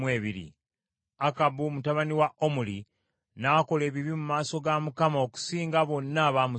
Akabu mutabani wa Omuli n’akola ebibi mu maaso ga Mukama okusinga bonna abaamusooka.